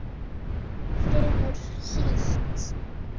Fremur hlýtt.